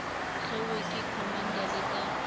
hlwauwe ke commander le ka